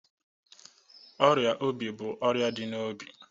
Ọrịa obi bụ ọrịa dị n'obi.